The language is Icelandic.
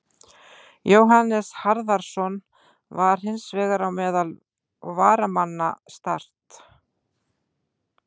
Jóhannes Harðarson var hins vegar á meðal varamanna Start.